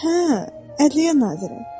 Hə, Ədliyyə naziri.